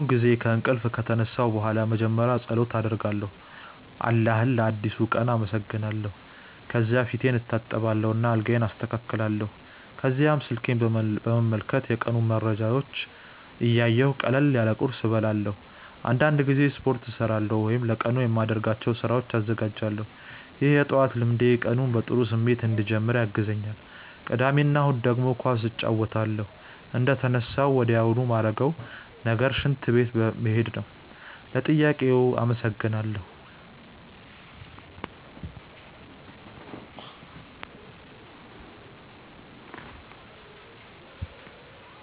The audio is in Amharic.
ብዙውን ጊዜ ከእንቅልፌ ከተነሳሁ በኋላ መጀመሪያ ፀሎት አደርጋለሁ አላህን ለአዲሱ ቀን አመሰግናለሁ። ከዚያ ፊቴን እታጠባለሁ እና አልጋዬን አስተካክላለሁ። ከዚያም ስልኬን በመመልከት የቀኑን መረጃዎች እያየሁ ቀለል ያለ ቁርስ እበላለሁ። አንዳንድ ጊዜ ስፖርት እሠራለሁ ወይም ለቀኑ የማደርጋቸውን ስራዎች እዘጋጃለሁ። ይህ የጠዋት ልምዴ ቀኑን በጥሩ ስሜት እንድጀምር ያግዘኛል። ቅዳሜ እና እሁድ ደግሞ ኳስ እጫወታለሁ። እንደተነሳሁ ወዲያውኑ ማረገው ነገር ሽንት ቤት መሄድ ነው። ለጥያቄው አመሰግናለው።